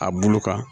A bulu kan